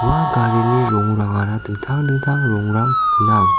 ua garini rongrangara dingtang dingtang rongrang gnang.